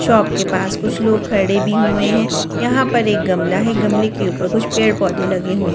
Shop के पास कुछ लोग खड़े भी हुए हैं यहां पर एक गमला है गमले के ऊपर कुछ पेड़-पौधे लगे हुए हैं।